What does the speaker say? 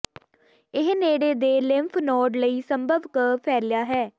ਇਹ ਨੇੜੇ ਦੇ ਲਿੰਫ ਨੋਡ ਲਈ ਸੰਭਵ ਕੁ ਫੈਲਿਆ ਹੈ